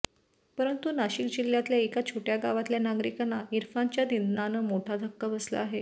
परंतु नाशिक जिल्ह्यातल्या एका छोट्या गावातल्या नागरिकांना इरफानच्या निधनानं मोठा धक्का बसला आहे